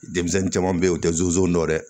Denmisɛnnin caman bɛ yen u tɛ zonzan dɔ ye